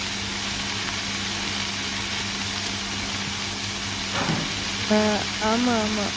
ஆஹ் ஆமா, ஆமா.